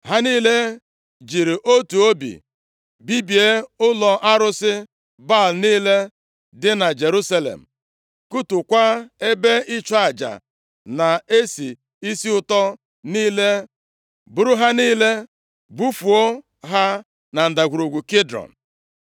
Ha niile jiri otu obi bibie ụlọ arụsị Baal niile dị na Jerusalem, kụtuokwa ebe ịchụ aja na-esi isi ụtọ niile, buru ha niile bufuo ha na Ndagwurugwu Kidrọn.